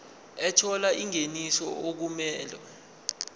ethola ingeniso okumele